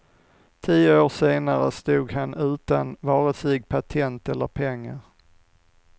Tio år senare stod han utan vare sig patent eller pengar.